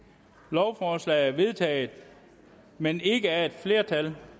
lovforslaget er vedtaget men ikke af et flertal